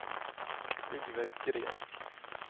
Yngve Green